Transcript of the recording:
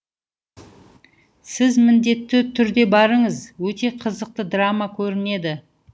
сіз міндетті түрде барыңыз өте қызықты драма көрінеді